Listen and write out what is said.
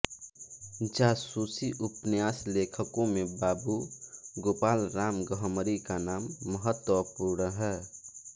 जासूसी उपन्यासलेखकों में बाबू गोपालराम गहमरी का नाम महत्वपूर्ण है